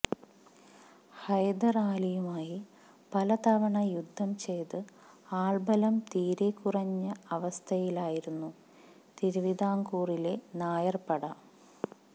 ഹൈദർ അലിയുമായി പലതവണ യുദ്ധം ചെയ്ത് ആൾബലം തീരെക്കുറഞ്ഞ അവസ്ഥയിലായിരുന്നു തിരുവിതാംകൂറിലെ നായർപ്പട